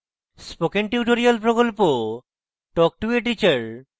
spoken tutorial প্রকল্প talk to a teacher প্রকল্পের অংশবিশেষ